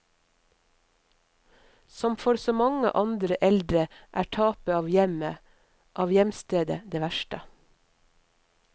Som for så mange andre eldre er tapet av hjemmet, av hjemstedet, det verste.